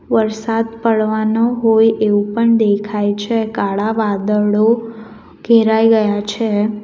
વરસાદ પડવાનો હોય એવું પણ દેખાય છે કાળા વાદળો ઘેરાઈ ગયા છે.